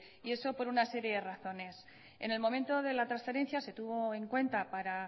y eso por una serie de razones en el momento de la transferencia se tuvo en cuenta para